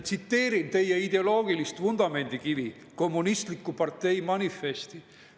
Tsiteerin teie ideoloogilist vundamendikivi, "Kommunistliku partei manifesti".